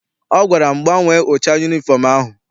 Ọ gwara m, gbanwee ụcha yunifọm ahụ!